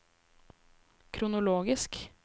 kronologisk